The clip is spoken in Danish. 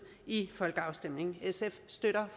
i en folkeafstemning sf støtter